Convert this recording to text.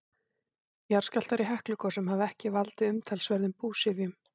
Jarðskjálftar í Heklugosum hafa ekki valdið umtalsverðum búsifjum.